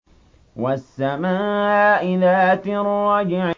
وَالسَّمَاءِ ذَاتِ الرَّجْعِ